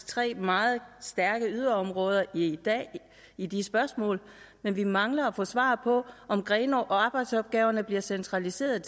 tre meget stærke yderområder i dag i de spørgsmål men vi mangler at få svar på om grenaas arbejdsopgaver bliver centraliseret